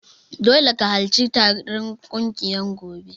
Dole ka harci taron kungiyar gobe.